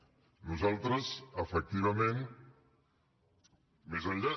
nosaltres efectivament més enllà